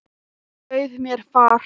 Hann bauð mér far.